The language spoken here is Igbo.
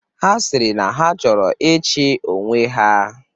Ha sịrị na ha chọrọ ịchị onwe ha.